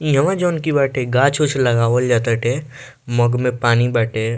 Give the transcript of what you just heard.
इ ह जोन कि बाटे गाछ-उछ लगावल जा टाटे मग में पानी बाटे।